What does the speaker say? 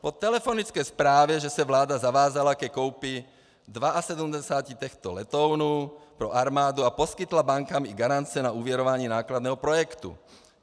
Po telefonické zprávě, že se vláda zavázala ke koupi 72 těchto letounů pro armádu a poskytla bankám i garance na úvěrování nákladného projektu.